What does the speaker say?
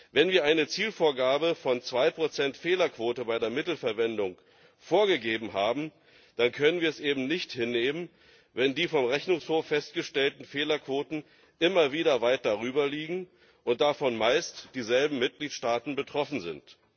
Wenn wir eine Zielvorgabe von zwei Prozent Fehlerquote bei der Mittelverwendung haben, dann können wir es eben nicht hinnehmen, wenn die vom Rechnungshof festgestellten Fehlerquoten immer wieder weit darüber liegen und davon meist dieselben Mitgliedstaaten betroffen sind.